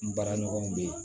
N baaraɲɔgɔnw bɛ yen